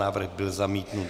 Návrh byl zamítnut.